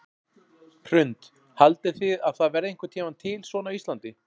Hrund: Haldið þið að það verði einhvern tímann til svona á Íslandi?